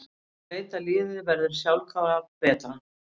Maður veit að liðið verður sjálfkrafa betra.